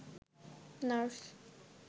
nurse